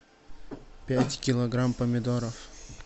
пять килограмм помидоров